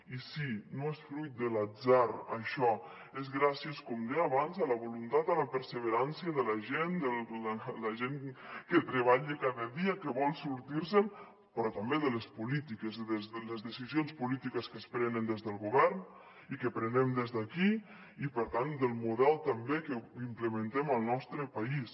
i sí no és fruit de l’atzar això és gràcies com deia abans a la voluntat a la perseverança de la gent de la gent que treballa cada dia que vol sortir se’n però també de les polítiques les decisions polítiques que es prenen des del govern i que prenem des d’aquí i per tant del model també que implementem al nostre país